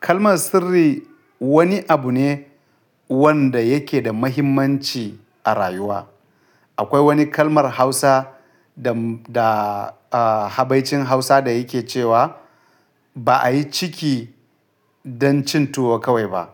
Kalmar sirri wani abu ne wanda yake da mahimmanci a rayuwa. Akwai wani kalmar Hausa da, da, ah, habaicin Hausa da yake cewa "Ba ayi ciki don cin tuwo kawai ba."